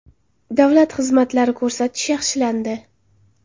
Davlat xizmatlari ko‘rsatish yaxshilandi.